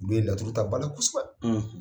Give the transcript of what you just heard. Olu ye laturu ta bala kosɛbɛ